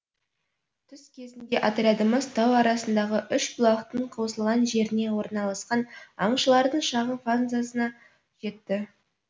түс кезінде отрядымыз тау арасындағы үш бұлақтың қосылған жеріне орналасқан аңшылардың шағын фанзасына жетті